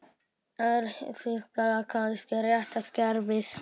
Er Þýskaland kannski rétta skrefið?